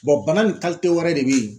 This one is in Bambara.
bana nin wɛrɛ de be ye